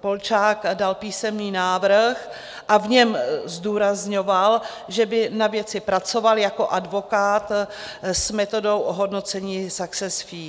Polčák dal písemný návrh a v něm zdůrazňoval, že by na věci pracoval jako advokát s metodou ohodnocení success fee.